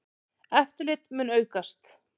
Eftirlit mun aukast.